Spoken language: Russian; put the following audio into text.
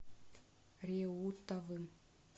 реутовым